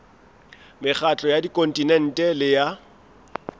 mekgatlo ya kontinente le ya